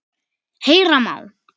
Heyra má